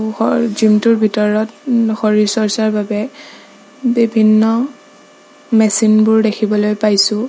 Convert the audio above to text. Gym টোৰ ভিতৰত শৰীৰ চৰ্চাৰ বাবে বিভিন্ন মেচিন বোৰ দেখিবলৈ পাইছোঁ।